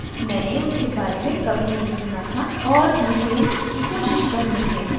मैंने उसके बारे में कभी नहीं सुना था और मुझे इसकी कोशिश करनी है